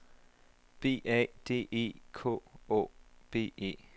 B A D E K Å B E